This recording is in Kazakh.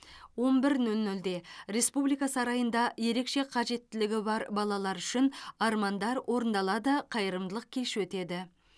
он бір нөл нөлде республика сарайында ерекше қажеттілігі бар балалар үшін армандар орындалады қайырымдылық кеші өтеді